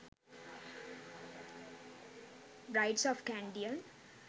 brides of kandyan